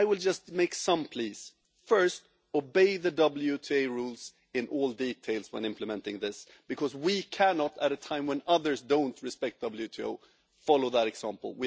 I will just make some pleas first, obey the WTO rules in every detail when implementing this, because we cannot, at a time when others don't respect the WTO, follow that example.